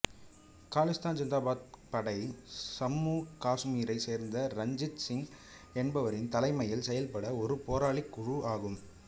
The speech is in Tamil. காலிஸ்தான் ஜிந்தாபாத் படை சம்மூ காசுமீரைச் சேர்ந்த ரஞ்சித் சிங் என்பவரின் தலைமையில் செயல்பட்ட ஒரு போராளிக் குழு ஆகும்